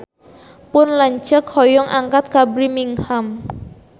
Pun lanceuk hoyong angkat ka Birmingham